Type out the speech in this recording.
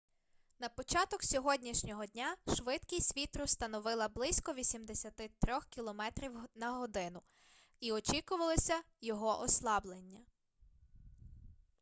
на початок сьогоднішнього дня швидкість вітру становила близько 83 км/год і очікувалося його ослаблення